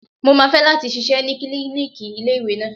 Mo máa fẹ́ láti ṣiṣẹ́ ní klíníkì ilé ìwé náà.